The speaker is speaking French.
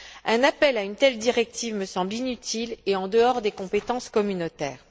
Un appel à une telle directive me semble inutile et en dehors des compétences communautaires.